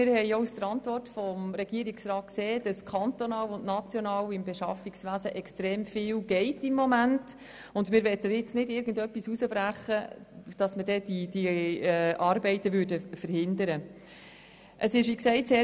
Wir haben der Regierungsantwort entnehmen können, dass gegenwärtig beim Beschaffungswesen auf kantonaler wie auf nationaler Ebene sehr viel geschieht, und wir möchten nun nicht etwas herausbrechen und diese Arbeiten dadurch verhindern oder belasten.